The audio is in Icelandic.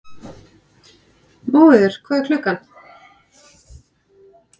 Móheiður, hvað er klukkan?